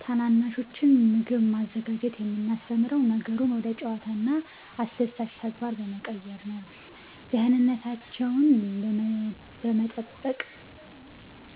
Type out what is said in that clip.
ታናናሾችን ምግብ ማዘጋጀት የምናስተምረው ነገሩን ወደ ጨዋታና አስደሳች ተግባር በመቀየር ነው፦ ደህንነታቸውን በመጠበቅ